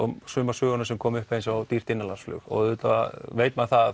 sumar sögur koma upp eins og dýrt innanlandsflug og auðvitað veit maður að